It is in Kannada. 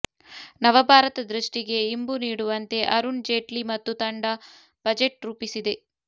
ನವಭಾರತ ದೃಷ್ಟಿಗೆ ಇಂಬು ನೀಡುವಂತೆ ಅರುಣ್ ಜೇಟ್ಲಿ ಮತ್ತು ತಂಡ ಬಜೆಟ್ ರೂಪಿಸಿದೆ